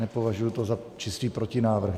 Nepovažuji to za čistý protinávrh.